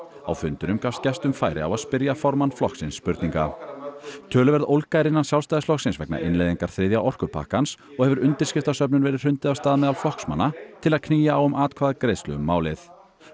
á fundinum gafst gestum færi á að spyrja formann flokksins spurninga töluverð ólga er innan Sjálfstæðisflokksins vegna innleiðingar þriðja orkupakkans og hefur undirskriftasöfnun verið hrundið af stað meðal flokksmanna til að knýja á um atkvæðagreiðslu um málið